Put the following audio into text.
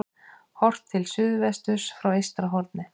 Horft til suðvesturs frá Eystrahorni.